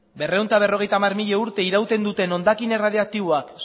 berrehun eta berrogeita hamar mila urte irauten duten hondakin erradiaktiboak